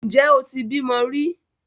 Ǹjẹ́ o ti bímọ rí?